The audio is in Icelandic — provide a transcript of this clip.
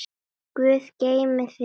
Guð geymi þig, elsku pabbi.